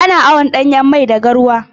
Ana awon ɗanyan mai da garwa.